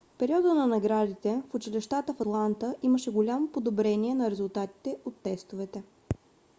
в периода на наградите в училищата в атланта имаше голямо подобрение на резултатите от тестовете